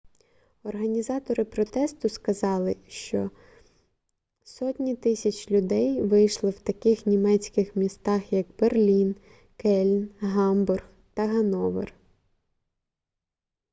організатори протесту сказали що 100 000 людей вийшли в таких німецьких містах як берлін кельн гамбург та гановер